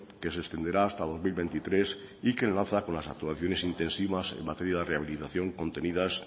que se extenderá hasta dos mil veintitrés y que enlaza con las actuaciones intensivas en materia de rehabilitación contenidas